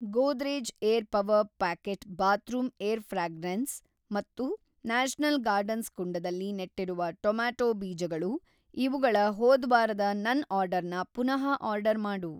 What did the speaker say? Godrej air power pocket bathroom air fragrance ಮತ್ತು national gardens ಕುಂಡದಲ್ಲಿ ನೆಟ್ಟಿರುವ ಟೊಮ್ಯಾಟೊ ಬೀಜಗಳು ಇವುಗಳ ಹೋದ್ವಾರದ ನನ್‌ ಆರ್ಡರ್‌ನ ಪುನಃ ಆರ್ಡರ್‌ ಮಾಡು.